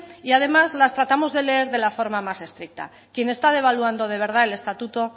y además las tratamos de leer de la forma más estricta quien está devaluando de verdad el estatuto